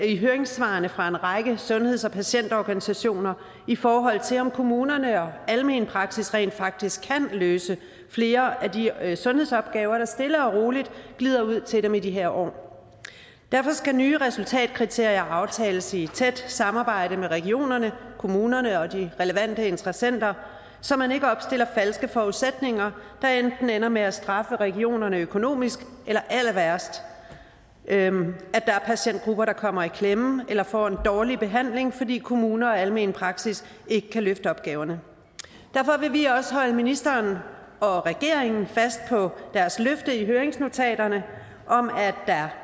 i høringssvarene fra en række sundheds og patientorganisationer i forhold til om kommunerne og almen praksis rent faktisk kan løse flere af de sundhedsopgaver der stille og roligt glider ud til dem i de her år derfor skal nye resultatkriterier aftales i et tæt samarbejde med regionerne kommunerne og de relevante interessenter så man ikke opstiller falske forudsætninger der enten ender med at straffe regionerne økonomisk eller allerværst at der er patientgrupper der kommer i klemme eller får en dårlig behandling fordi kommuner og almen praksis ikke kan løfte opgaverne derfor vil vi også holde ministeren og regeringen fast på deres løfte i høringsnotaterne om at